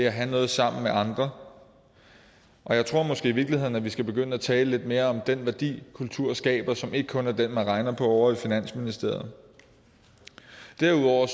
at have noget sammen med andre jeg tror måske i virkeligheden at vi skal begynde at tale lidt mere om den værdi kultur skaber og som ikke kun er den man regner på ovre i finansministeriet derudover